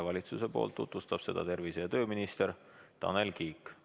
Valitsusest tutvustab seda tervise- ja tööminister Tanel Kiik.